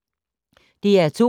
DR2